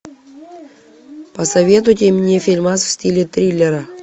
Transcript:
посоветуйте мне фильмас в стиле триллера